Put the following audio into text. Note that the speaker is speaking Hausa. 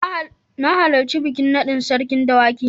Na halarci bikin naɗin Sarkin Dawaki.